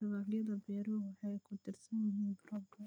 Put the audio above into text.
Dalagyada beeruhu waxay ku tiirsan yihiin roobka.